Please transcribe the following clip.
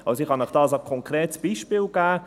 Ich kann Ihnen ein konkretes Beispiel geben.